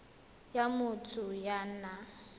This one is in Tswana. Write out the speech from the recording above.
ya motho ya o nang